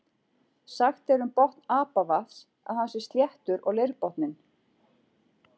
Sagt er um botn Apavatns að hann sé sléttur og leirborinn.